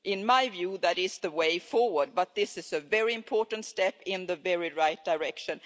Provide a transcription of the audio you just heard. In my view, that is the way forward, but this is a very important step in the right direction.